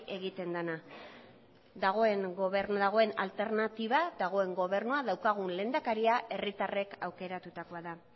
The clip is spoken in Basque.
egiten dena dagoen gobernua dagoen alternatiba dagoen gobernua daukagun lehendakaria herritarrek aukeratutakoa da